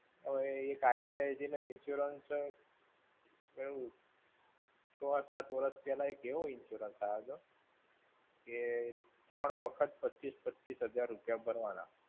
હવે એક ICICI નો insurance કેવું. છ-સાત વર્ષ પહેલા કેવો insurance આયો હતો કે, ત્રણ વખત પચ્ચીસ હજાર રૂપિયા ભરવાના.